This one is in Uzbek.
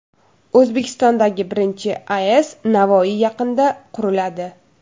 O‘zbekistondagi birinchi AES Navoiy yaqinida quriladi.